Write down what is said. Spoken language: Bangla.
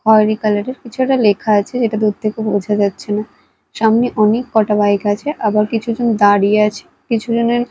খয়রি কালার -এর কিছু একটা লেখা আছে যেটা দূর থেকে বোঝা যাচ্ছে না সামনে অনেক কটা বাইক আছে আবার কিছু জন দাঁড়িয়ে আছে কিছুজনের--